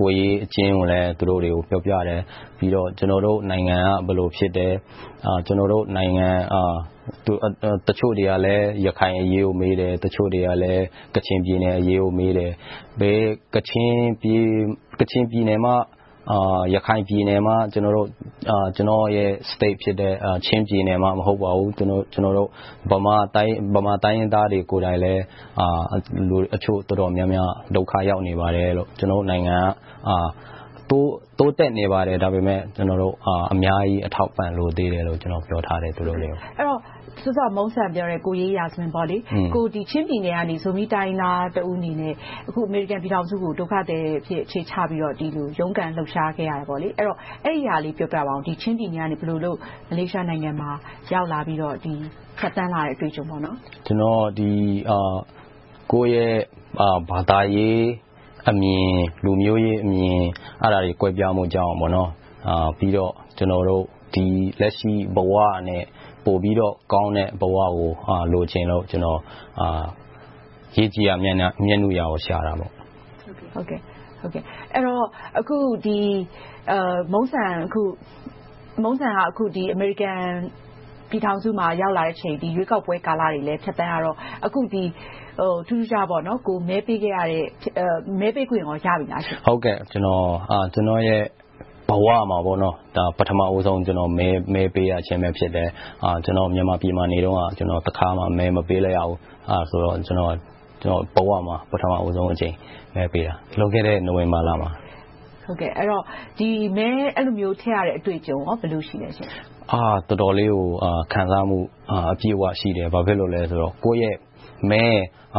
ကိုယ်ရေးအကျဉ်းကိုလည်း သူတို့တွေကို ပြောပြတယ်။ နောက် ကျနော်တို့နိုင်ငံက ဘယ်လိုဖြစ်တယ်။ ကျနော်တို့နိုင်ငံရဲ့ ရခိုင်အရေးကို တချို့တွေေးမတယ်။ တချို့တွေလည်း ကချင်ပြည်နယ်အရေးကို မေးတယ်။ ကချင်ပြည်နယ်မှ၊ ရခိုင်ပြည်နယ်မှ ကျနော်ရဲ့ ပြည်နယ်ဖြစ်တယ်။ ချင်းပြည်နယ်မှ မဟုတ်ပါဘူး။ ဗမာတိုင်းရင်းသားတွေ ကိုယ်တိုင်လည်း တချို့တော်တော်များများ ဒုက္ခ ရောက်နေပါတယ်။ ကျနော်တို့နိုင်ငံက တိုးတက်နေပါတယ်။ ဒါပေမဲ့ ကျနော်တို့ အများကြီးအထောက်အပံ့တွေ လိုသေးတယ်လို့ သူတိုကို ပြောခဲ့ပါတယ်။ အဲဒီတော့ စောစောကပြောတဲ့ ကိုယ်ရေးရာဇဝင် - ချင်းပြည်နယ်ကနေ ဇူမီ တိုင်းရင်းသားတဦးအနေနဲ့ အခု အမေရိကန်ပြည်ထောင်စုကို ဒုက္ခသည်အဖြစ် အခြေချပြီးတော့ ဒီလိုရုန်းကန်လှုပ်ရှားခဲ့ရတယ်။ အဲဒါလေးကို ပြောပြပါအုံး။ ချင်းပြည်နယ်ကနေ မလေးရှားနိုင်ငံမှာ ရောက်လာပြီး ဖြတ်သန်းလာတဲ့ အတွေ့အကြုံ။ ကျနော်က ကိုယ့်ရဲ့ ဘာသာရေးအမြင်၊ လူမျိုးရေးအမြင် အဲဒါတွေ ကွဲပြားမှုကြောင့် ပြီးတော့ လက်ရှိဘဝထက်ကောင်းတဲ့ ပိုပြီးတော့ ကောင်းတဲ့ဘဝကို လိုချင်လို့ - ရေကြည်ရာ မျက်နုရာ ဖြစ်ခဲ့ကြတာပေါ့။ အခု Mungsan က အမေရိကန်ပြည်ထောင်စုမှာ ရောက်လာတဲ့အချိန်၊ ရွေးကောက်ပွဲကာလတွေလည်း ဖြတ်သန်းခဲ့ရတော့ အခုထူးထူးခြားခြား - ကိုယ်မဲပေးခဲ့တဲ့၊ မဲပေးခွင့်ကော ရပြီလား။ ကျနော့်ရဲ့ဘဝမှာ ပထမဦးဆုံး မဲပေးရခြင်း ဖြစ်တယ်။ မြန်မာပြည်မှာ နေတုန်းက တခါမှ မဲမပေးလိုက်ရဘူး။ အဲဒါ ကျနော့်ဘဝမှာ ပထမဦးဆုံးအကြိမ် မဲပေးခွင့်ရတာ။ လွန်ခဲ့တဲ့ နိုဝင်ဘာလမှာ ။ အဲဒီလိုမျိုး မဲထည့်ခွင့်ရတဲ့ အတွေ့အကြုံ ဘယ်လိုရှိလဲ။ တော်တော်လေးကို ခံစားမှု၊ အပြည့်အဝရှိတယ်။ ဘာဖြစ်လို့လဲဆိုတော့ ကိုယ့်ရဲ့မဲ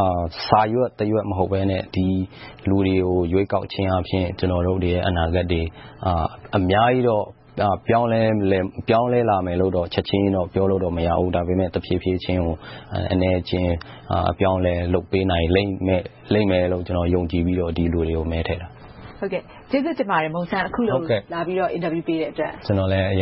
ဟာ စာရွက်တရွက် မဟုတ်ဘဲနဲ့ လူတွေကို ရွေးကောက်ခြင်းအားဖြင့် ကျနော်တို့တွေရဲ့ အနာဂတ်တွေ အများကြီးတော့ ပြောင်းလဲလာမယ်လို့တော့ ချက်ချင်းကြီး ပြောလို့မရဘူး။ ဒါပေမဲ့ တဖြည်းဖြည်းချင်း၊ အနည်းအကျဉ်း အပြောင်းအလဲ လုပ်ပေးနိုင်လိမ့်မယ်လို့ ကျနော် ယုံကြည်ပြီးတော့ ဒီလူတွေကို မဲထည့်ခဲ့တာ။ ကျေးဇူးတင်ပါတယ် Mungsan. အခုလိုလာပြီးတော့ အင်တာဗျူးပေးတဲ့အတွက်။ ကျနော်လည်း အရ